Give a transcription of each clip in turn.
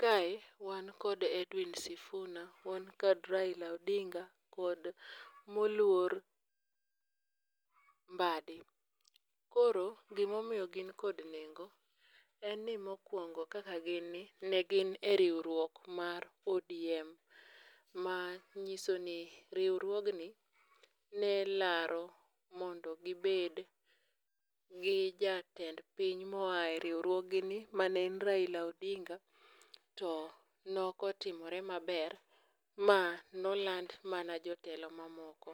Kae wan kod Edwin Sifuna, wan kod Raila Odinga kod moluor Mbaddi, koro gimomiyo gin kod nengo en ni mokwongo kaka ginni ne gin e riwruok mar ODM manyiso ni riwruogni ne laro mondo gibed gi jatend piny moa riwruogni mane e Raila Odinga to nokotimre maber, ma noland mana Jotelo mamoko.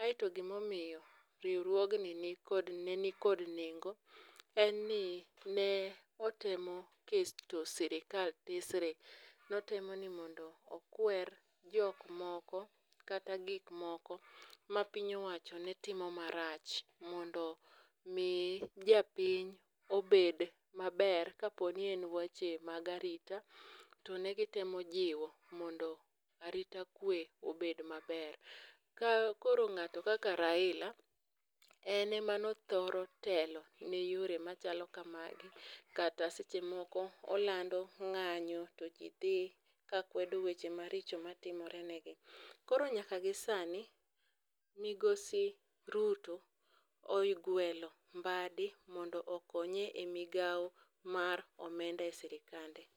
aeto gimomiyo riwruogni ne nikod nengo en ni ne otemo keto sirikal tesre ,notemo ni mondo okwer jok moko kaka gikmoko mapiny owacho ne timo marach mondo mi japiny obed maber kaponi en weche mag arita, to ne gitemo jiwo mondo arita kwe obed maber. Ka koro ng'ato kaka Raila ,en ema nothoro telo ne yore machalo kamagi kata seche moko olano ng'anyo to ji dhi kakwedo weche maricho matimore negi. Koro nyaka gi sani, migosi Ruto ogwelo Mbaddi mondo okonye e migawo mar omenda e sirikande.